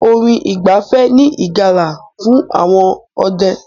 Orin ìgbafẹ́ ní ìjálá fún àwọn ọdẹ́.